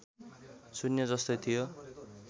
शून्य जस्तै थियो